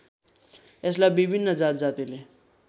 यसलाई विभिन्न जातजातिले